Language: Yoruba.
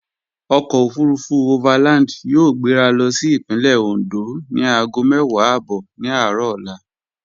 Ọkọ̀ òfurufú overland yóò gbéra lọ sí Ìpínlẹ̀ Oǹdó ni aago mẹ́wàá ààbọ̀ ní aárọ̀ ọla